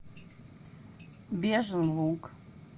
бежин луг